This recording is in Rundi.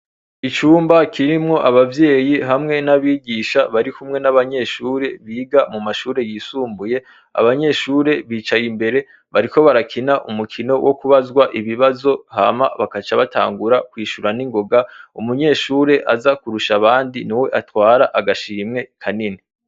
Icumba kiremwo abavyeyi hamwe nabigisha barikumwe nabanyeshure biga mumashure yisumbuye abanyeshure bicaye imbere bariko barakina umukino wokubazwa ibibazo hama bagaca batangura kwishure ningoga umunyeshure azakurusha abandi niwe atwara agashimwe kanini